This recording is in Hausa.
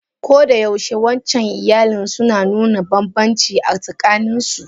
Koda yaushe wancan iyalin suna nuna banbanci a tsakanin su.